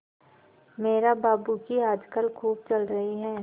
मेहरा बाबू की आजकल खूब चल रही है